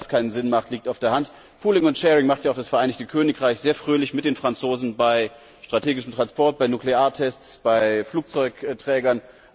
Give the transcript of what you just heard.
Dass das keinen Sinn macht, liegt auf der Hand. Pooling and sharing macht ja auch das Vereinigte Königreich sehr fröhlich mit den Franzosen bei strategischen Transporten, bei Nukleartests, bei Flugzeugträgern.